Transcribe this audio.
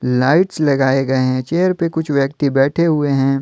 Lights लगाए गए है चीयर पे कुछ व्यक्ति बैठे हुए है।